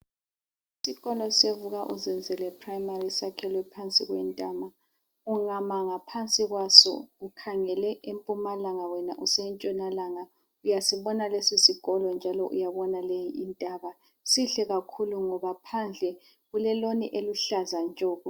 Isikolo seVuka uZenzele esemfundo yaphansi sakhelwe phansi kwentaba. Ungama ngaphansi kwaso ukhangele empumalanga wena usentshonalanga uyasibona lesisikolo kanye lentaba. Sihle kakhulu ngoba phandle kuleloni eluhlaza tshoko.